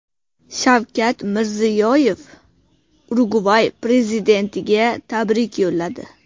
Shavkat Mirziyoyev Urugvay prezidentiga tabrik yo‘lladi.